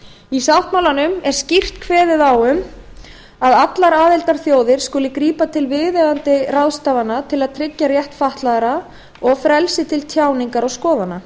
í sáttmálanum er skýrt kveðið á um að allar aðildarþjóðir skuli grípa til viðeigandi ráðstafana til að tryggja rétt fatlaðra og frelsi til tjáningar og skoðana